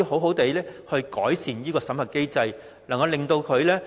我們能否改善審核機制呢？